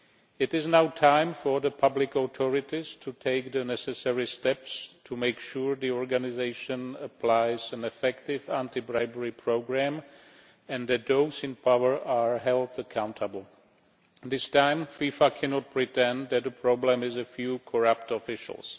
It is now time for the public authorities to take the necessary steps to make sure the organisation applies an effective anti bribery programme and that those in power are held accountable. This time FIFA cannot pretend that the problem is a few corrupt officials.